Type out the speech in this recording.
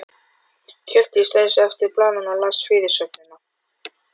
Hjördís teygði sig eftir blaðinu og las fyrirsögnina.